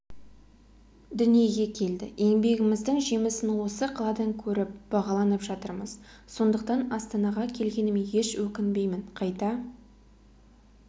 дүниеге келді еңбегіміздің жемісін осы қаладан көріп бағаланып жатырмыз сондықтан астанаға келгеніме еш өкінбеймін қайта